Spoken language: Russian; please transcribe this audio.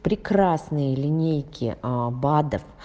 прекрасные линейки аа бадов